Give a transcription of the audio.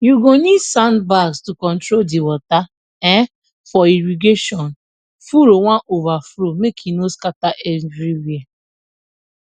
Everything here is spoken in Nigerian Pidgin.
you go need sandbags to control di water um for irrigation furrow wan overflow make e no scatter everywhere